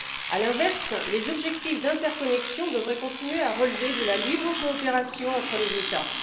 À l'inverse, les objectifs d'interconnexion devraient continuer à relever de la libre coopération entre les États.